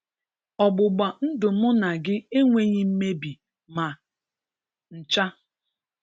Ọgbụgba ndụ mụ na gị enweghị mmebi ma ncha.